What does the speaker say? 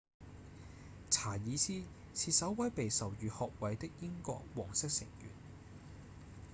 查爾斯是首位被授予學位的英國王室成員